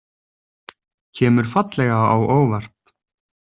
Kemur fallega á óvart.